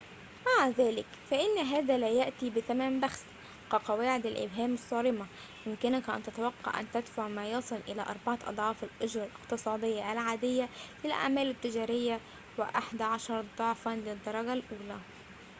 مع ذلك فإن هذا لا يأتي بثمن بخس كقواعد الإبهام الصارمة يمكنك أن تتوقع أن تدفع ما يصل إلى أربعة أضعاف الأجرة الاقتصادية العادية للأعمال التجارية وأحد عشر ضعفاً للدرجة الأولى